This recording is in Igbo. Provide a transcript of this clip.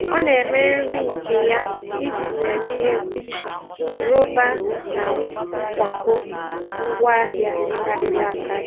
Ọ na-eme nri nke ya iji zere ihe mkpuchi rọba na nkwakọ ngwaahịa karịrị akarị.